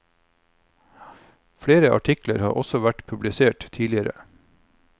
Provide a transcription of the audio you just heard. Flere artikler har også vært publisert tidligere.